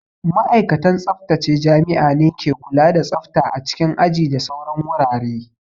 Ma'aikatan tsaftace jami'a ne ke kula da tsafta a cikin aji da sauran wurare